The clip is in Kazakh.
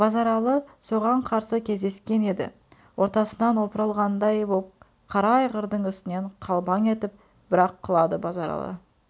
базаралы соған қарсы кездескен еді ортасынан опырылғандый боп қара айғырдың үстінен қалбаң етіп бір-ақ құлады базаралы